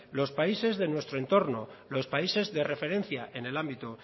los países de nuestro entorno los países de referencia en el ámbito